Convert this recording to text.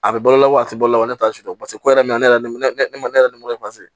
A bɛ balola wa a ti balo la o de t'a susu paseke ko yɛrɛ bɛ na ne yɛrɛ ma ne yɛrɛ